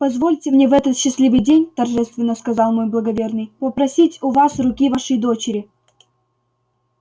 позвольте мне в этот счастливый день торжественно сказал мой благоверный попросить у вас руки вашей дочери